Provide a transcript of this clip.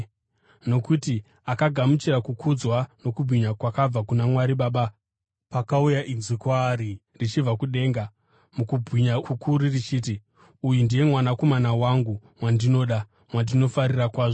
Nokuti akagamuchira kukudzwa nokubwinya kwakabva kuna Mwari Baba pakauya inzwi kwaari richibva kudenga mukubwinya kukuru richiti, “Uyu ndiye Mwanakomana wangu, wandinoda; wandinofarira kwazvo.”